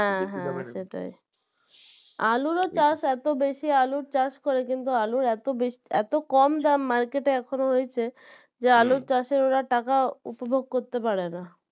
হ্যাঁ হ্যাঁ সেটাই আলুরও চাষ এতো বেশি আলুর চাষ করে কিন্তু আলুর এতো বেশি এতো কম দাম market এ এখনও রয়েছে যে আলুর চাষের ওরা টাকা উপভোগ করতে পারে না